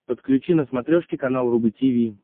подключи на смотрешке канал рубль ти ви